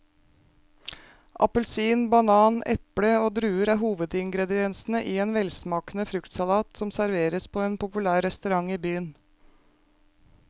Appelsin, banan, eple og druer er hovedingredienser i en velsmakende fruktsalat som serveres på en populær restaurant i byen.